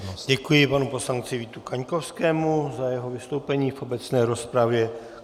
Děkuji panu poslanci Vítu Kaňkovskému za jeho vystoupení v obecné rozpravě.